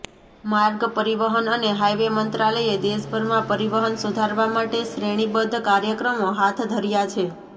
માર્ગ પરિવહન અને હાઇવે મંત્રાલયે દેશભરમાં પરિવહન સુધારવા માટે શ્રેણીબદ્ધ કાર્યક્રમો હાથ ધર્યા છે